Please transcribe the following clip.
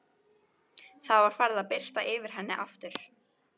Það var farið að birta yfir henni aftur.